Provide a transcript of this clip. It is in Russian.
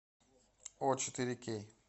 о четыре кей